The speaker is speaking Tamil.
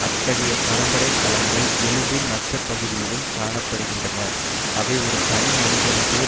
அத்தகைய பரம்பரை கலங்கள் எலும்பின் மச்சைப்பகுதியிலும் காண படுகின்றன அவை ஒரு தனி மனிதனது